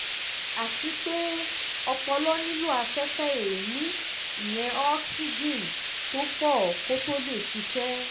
àti pé ọpọlọ nílò afẹ́fẹ́ èémí ìyẹn ooxygen tó pọ̀ kó tóó lè ṣiṣẹ́